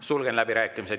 Sulgen läbirääkimised.